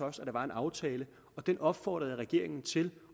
også at der var en aftale og den opfordrede jeg regeringen til